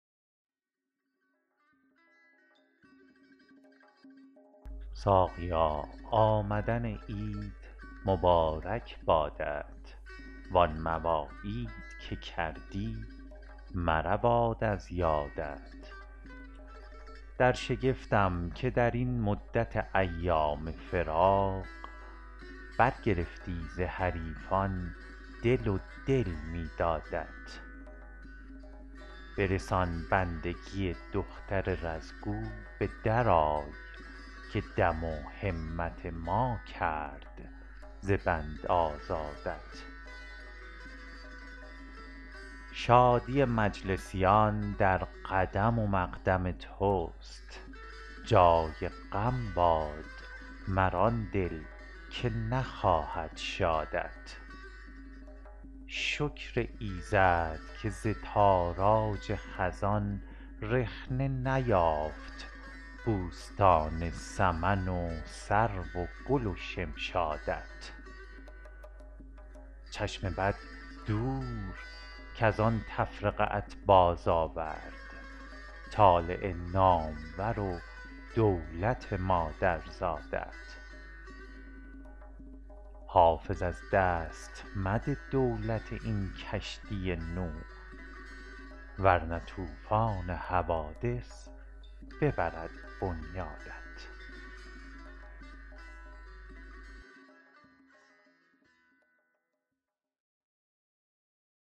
ساقیا آمدن عید مبارک بادت وان مواعید که کردی مرود از یادت در شگفتم که در این مدت ایام فراق برگرفتی ز حریفان دل و دل می دادت برسان بندگی دختر رز گو به درآی که دم و همت ما کرد ز بند آزادت شادی مجلسیان در قدم و مقدم توست جای غم باد مر آن دل که نخواهد شادت شکر ایزد که ز تاراج خزان رخنه نیافت بوستان سمن و سرو و گل و شمشادت چشم بد دور کز آن تفرقه ات بازآورد طالع نامور و دولت مادرزادت حافظ از دست مده دولت این کشتی نوح ور نه طوفان حوادث ببرد بنیادت